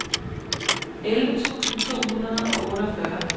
elleve tusind to hundrede og otteogfyrre